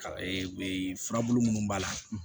furabulu munnu b'a la